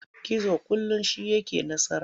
Gizo kullum shi yake nasara.